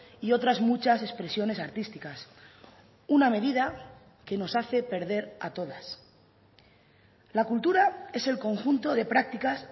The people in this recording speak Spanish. y otras muchas expresiones artísticas una medida que nos hace perder a todas la cultura es el conjunto de prácticas